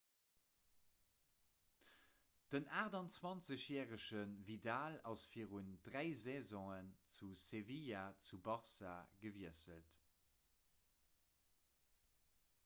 den 28-järege vidal ass virun dräi saisone vu sevilla zu barça gewiesselt